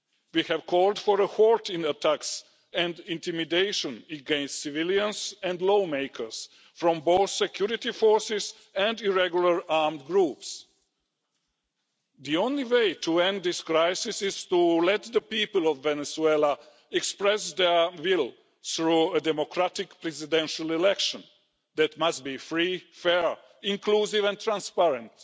We have called for a halt to attacks and intimidation against civilians and lawmakers, from both security forces and irregular armed groups. The only way to end this crisis is to let the people of Venezuela express their will through a democratic presidential election that must be free, fair, inclusive and transparent.